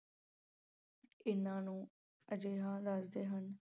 ਇਹਨਾਂ ਨੂੰ ਅਜਿਹਾ ਦੱਸਦੇ ਹਨ